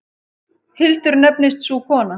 Hildur nefnist sú kona.